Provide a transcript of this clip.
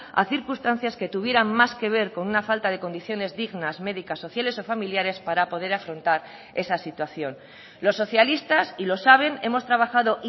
a circunstancias que tuvieran más que ver con una falta de condiciones dignas medicas sociales o familiares para poder afrontar esa situación los socialistas y lo saben hemos trabajado